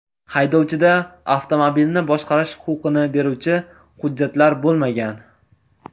Haydovchida avtomobilni boshqarish huquqini beruvchi hujjatlar bo‘lmagan.